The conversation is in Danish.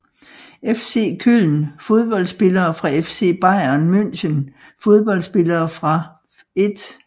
FC Köln Fodboldspillere fra FC Bayern München Fodboldspillere fra 1